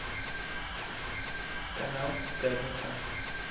канал пятница